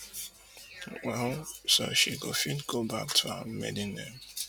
well so dat she go fit go back to her maiden name